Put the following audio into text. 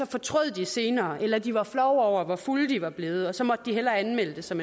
fortrød senere eller at de var flove over hvor fulde de var blevet og så måtte de hellere anmelde det som